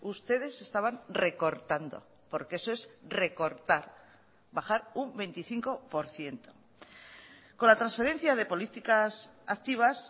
ustedes estaban recortando porque eso es recortar bajar un veinticinco por ciento con la transferencia de políticas activas